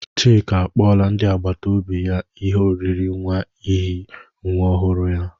Chika akpọla ndị akpata obi ya ihe oriri nwa n'ihi nwa ọhụrụ ya.